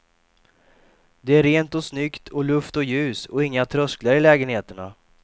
Det är rent och snyggt och luft och ljus och inga trösklar i lägenheterna.